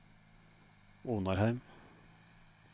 Onarheim